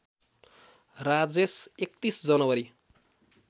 Rajesh ३१ January